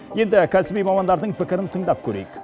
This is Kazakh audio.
енді кәсіби мамандардың пікірін тыңдап көрейік